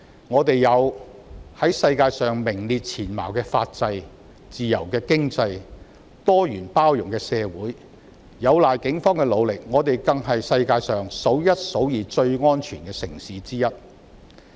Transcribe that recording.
我們有在世界上名列前茅的法制、自由的經濟及多元包容的社會；有賴警方的努力，我們更是世界上數一數二最安全的城市之一。